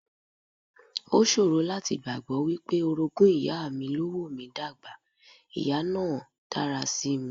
O ṣòro láti gbàgbọ́ wípé orogún ìyá mi ló wò mí dà gbà, ìyá náà dára sí mi.